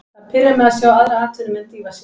Það pirrar mig að sjá aðra atvinnumenn dýfa sér.